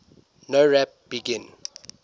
nowrap begin